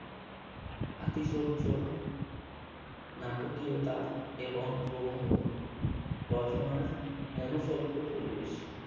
নাটকীয়তা প্রবন্ধ রচনার মনোষজ্ঞ পরিবেশ